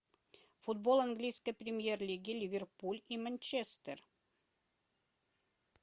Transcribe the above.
футбол английской премьер лиги ливерпуль и манчестер